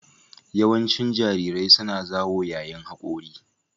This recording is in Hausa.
Yawancin jarirai suna zawo yayin hakora